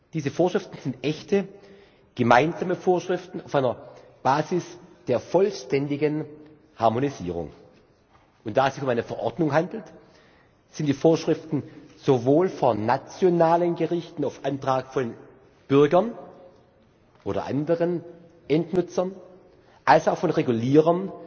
Diese Vorschriften sind echte gemeinsame Vorschriften auf einer Basis der vollständigen Harmonisierung. Und da es sich um eine Verordnung handelt, sind die Vorschriften sowohl von nationalen Gerichten auf Antrag von Bürgern oder anderen Endnutzern als auch von Regulierern